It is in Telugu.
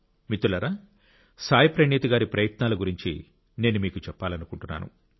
మిత్రులారా సాయి ప్రణీత్ గారి ప్రయత్నాల గురించి నేను మీకు చెప్పాలనుకుంటున్నాను